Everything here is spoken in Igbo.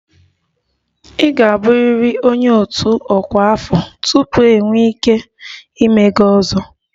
Ị ga-abụrịrị onye otu ọkwa afọ tupu ị nwee ike ịme 'ozo'